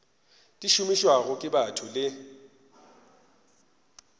di šomišwago ke batho le